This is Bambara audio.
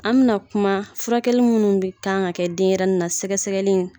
An bɛna kuma furakɛlaw minnu bɛ kan ka kɛ denyɛrɛnin na sɛgɛsɛgɛli